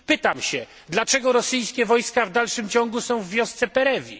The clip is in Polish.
Pytam się dlaczego rosyjskie wojska w dalszym ciągu są w wiosce Perewi?